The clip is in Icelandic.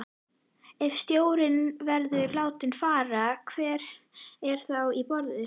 Ef stjórinn verður látinn fara, hver er þá í boði?